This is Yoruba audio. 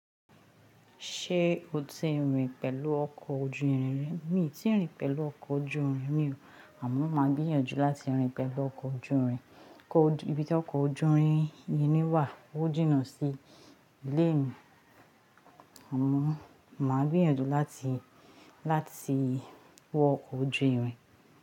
Ṣé o ti rìn pẹ̀lú ọkọ̀ ojú irin rí? Mi ò tíì rìn pẹ̀lú ọkọ̀ ojú irin rí o. Àmọ́ máa gbìyànjú láti rìn pẹ̀lú ọkọ̀ ojú irin. Ibí tí ọkọ̀ ojú irin yìí wà, ó jìnà sí ilé mi. Àmọ́ màá gbìyànjú láti, láti wọ ọkọ̀ ojú irin.